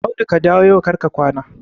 Audu ka dawo yau kar ka kwana!